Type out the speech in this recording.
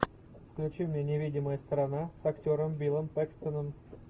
включи мне невидимая сторона с актером биллом пэкстоном